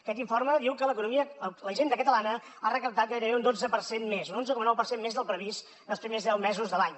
aquest informe diu que la hisenda catalana ha recaptat gairebé un dotze per cent més un onze coma nou per cent més del previst en els primers deu mesos de l’any